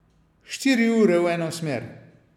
Štiri ure v eno smer.